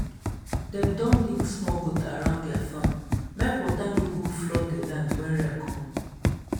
dem don dig small gutter around their farm make water no go flood the land when rain come.